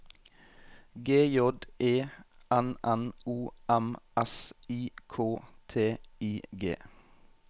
G J E N N O M S I K T I G